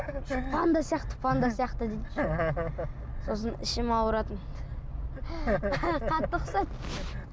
панда сияқты панда сияқты дейді еще сосын ішім ауыратын қатты қысады